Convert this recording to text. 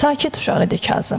Sakit uşaq idi Kazım.